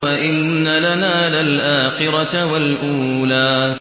وَإِنَّ لَنَا لَلْآخِرَةَ وَالْأُولَىٰ